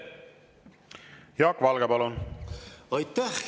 Jaak Valge, palun!